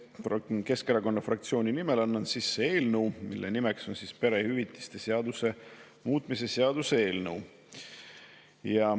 Eesti Keskerakonna fraktsiooni nimel annan sisse eelnõu, mille peakiri on "Perehüvitiste seaduse muutmise seaduse eelnõu".